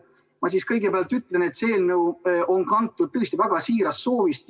Ma kõigepealt ütlen, et see eelnõu on kantud tõesti väga siirast soovist.